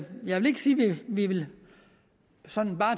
vi sådan bare